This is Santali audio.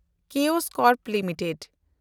ᱠᱮᱣᱚᱥ ᱠᱚᱨᱯ ᱞᱤᱢᱤᱴᱮᱰ